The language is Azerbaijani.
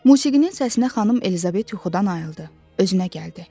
Musiqinin səsinə Xanım Elizabet yuxudan ayıldı, özünə gəldi.